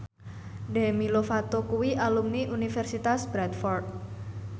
Demi Lovato kuwi alumni Universitas Bradford